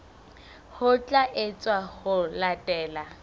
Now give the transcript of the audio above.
ho tla etswa ho latela